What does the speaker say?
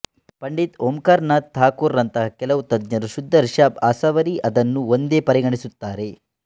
ಪಂಡಿತ್ ಓಂಕಾರನಾಥ ಥಾಕುರ್ ರಂತಹ ಕೆಲವು ತಜ್ಞರು ಶುದ್ದ ರಿಶಾಭ್ ಅಸಾವರಿ ಅದನ್ನು ಒಂದೇ ಪರಿಗಣಿಸುತ್ತಾರೆ